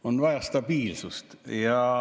On vaja stabiilsust.